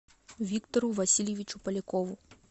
виктору васильевичу полякову